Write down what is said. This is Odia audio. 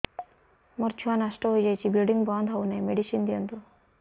ମୋର ଛୁଆ ନଷ୍ଟ ହୋଇଯାଇଛି ବ୍ଲିଡ଼ିଙ୍ଗ ବନ୍ଦ ହଉନାହିଁ ମେଡିସିନ ଦିଅନ୍ତୁ